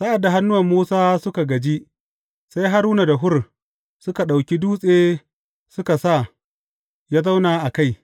Sa’ad da hannuwan Musa suka gaji, sai Haruna da Hur suka ɗauki dutse suka sa ya zauna a kai.